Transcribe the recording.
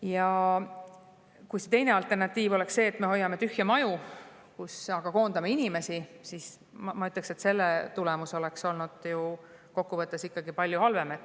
Ja kui alternatiiv oleks olnud see, et me hoiame tühje maju, kust aga koondame inimesi, siis selle tulemus, ma ütleksin, oleks olnud ju kokkuvõttes palju halvem.